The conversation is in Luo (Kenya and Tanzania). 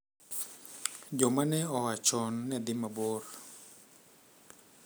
Joma ne oa chon ne dhi mabor.